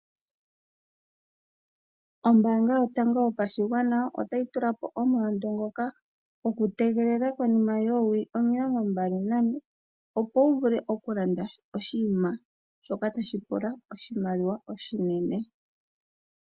Ombaanga Yotango Yopashigwana otayi tula po omulandu ngoka gokutegelela konima yoowili omilongombali nane, opo wu vule okulanda oshinima shoka tashi pula oshimaliwa oshinene.